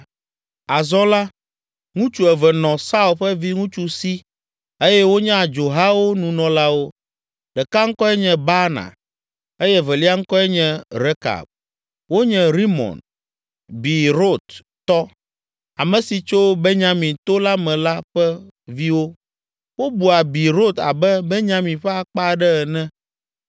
Azɔ la, ŋutsu eve nɔ Saul ƒe viŋutsu si eye wonye adzohawo nunɔlawo. Ɖeka ŋkɔe nye Baana eye evelia ŋkɔe nye Rekab. Wonye Rimon, Beerot tɔ, ame si tso Banyamin to la me la ƒe viwo. Wobua Beerot abe Benyamin ƒe akpa aɖe ene